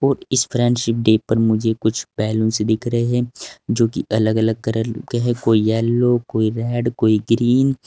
इस friendship day पर मुझे कुछ बलूंस दिख रहे हैं जो कि अलग अलग कलर के है कोई येलो कोई रेड कोई ग्रीन ।